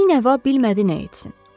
Binəva bilmədi nə etsin.